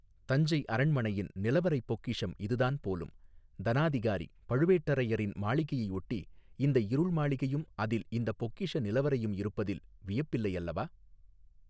தஞ்சை அரண்மனையின் நிலவறைப் பொக்கிஷம் இதுதான் போலும் தனாதிகாரி பழுவேட்டரையரின் மாளிகையையொட்டி இந்த இருள் மாளிகையும் அதில் இந்தப் பொக்கிஷ நிலவறையும் இருப்பதில் வியப்பில்லையல்லவா.